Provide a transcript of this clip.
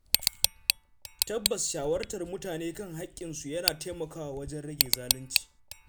Tabbas shawartar mutane kan haƙƙinsu yana taimakawa wajen rage zalunci.